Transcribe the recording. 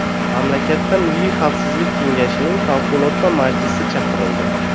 Mamlakatda milliy xavfsizlik kengashining favqulodda majlisi chaqirildi .